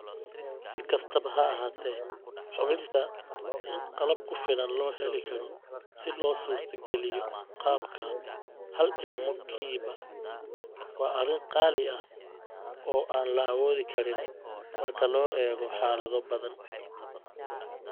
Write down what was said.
Si kastaba ha ahaatee, hubinta in qalab ku filan la heli karo si loo suurtageliyo qaabka 'hal-ilmo-kiiba' waa arrin qaali ah oo aan la awoodi karin marka loo eego xaalado badan.